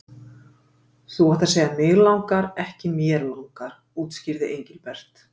Þú átt að segja mig langar, ekki mér langar útskýrði Engilbert.